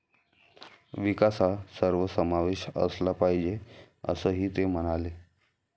विकास हा सर्वसमावेश असला पाहिजे असंही ते म्हणाले.